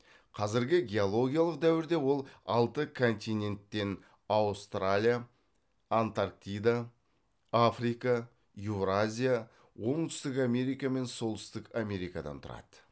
қазіргі геологиялық дәуірде ол алты континенттен аустралия антарктида африка еуразия оңтүстік америка және солтүстік америкадан тұрады